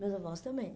Meus avós também.